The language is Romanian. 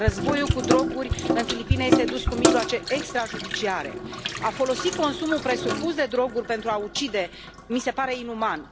Războiul cu droguri în Filipine este dus cu mijloace extrajudiciare. A folosi consumul presupus de droguri pentru a ucide mi se pare inuman.